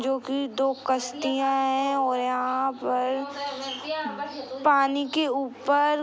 जो कि दो कश्तियां है और यहां पर पानी के ऊपर --